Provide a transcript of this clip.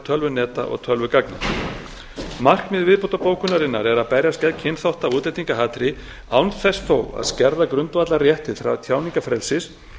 tölvuneta og tölvugagna markmið viðbótarbókunarinnar er að berjast gegn kynþátta og útlendingahatri án þess þó að skerða grundvallarrétt til tjáningarfrelsis